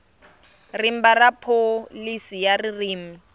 rimba ra pholisi ya ririmi